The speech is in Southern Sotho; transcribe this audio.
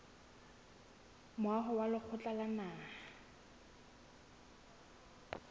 moaho wa lekgotla la naha